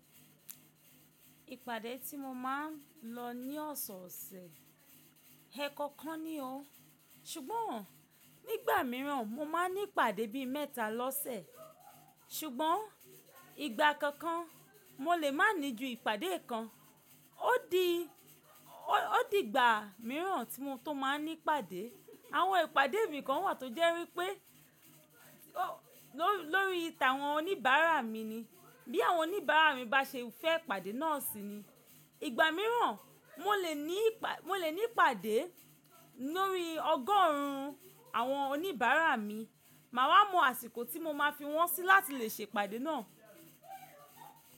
Ìpàdé tí mo máa ń lọ ní ọ̀sọ̀ọ̀sẹ̀ ẹẹ́kọkan ni o, ṣùgbọ́n nígbà míràn mo máa ń ní ìpàdé bí i mẹ́ta lọ́sẹ̀. Ṣùgbọ́n ìgbà kankan mo lè má ní ju ìpàdé kan. Ó di, ó di ìgbà míràn tí mo tó máa ń ní ìpàdé. Àwọn ìpàdé mi kan wà tó jẹ́ wípé ló, lórí tí a àwọn oníbàárà mi ni. Bí àwọn oníbàárà mi bá ṣe fẹ́ ìpàdé náà sí ni. Ìgbà míràn mo lè ní ìpàdé, mo lè ní ìpàdé lórí ọgọ́run àwọn oníbàárà mi. Máa wá mọ àsìkò tí mo máa fi wọ́n sí láti lè ṣe ìpàdé náà.